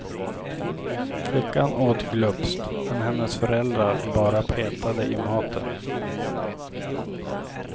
Flickan åt glupskt, men hennes föräldrar bara petade i maten.